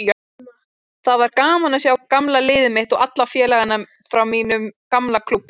Það var gaman að sjá gamla liðið mitt og alla félagana frá mínum gamla klúbbi.